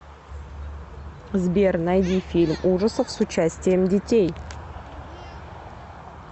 сбер найди фильм ужасов с участием детей